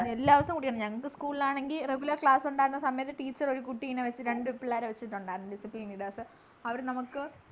എല്ലാ ദിവസും കുടിക്കണം ഞങ്ങക്ക് school ൽ ആണെങ്ങി regular class ഉണ്ടായിരുന്ന സമയത്തു teacher ഒരു കുട്ടീനെ വെച്ച് രണ്ടു പിള്ളേരെ വെച്ചിട്ടുണ്ടായിരുന്നു descipline leaders അവിടെ നമുക്ക്